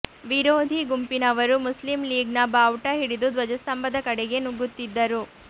ವಿರೋಧಿ ಗುಂಪಿನವರು ಮುಸ್ಲಿಂ ಲೀಗ್ನ ಬಾವುಟ ಹಿಡಿದು ಧ್ವಜಸ್ತಂಭದ ಕಡೆಗೆ ನುಗ್ಗುತ್ತಿದ್ದರು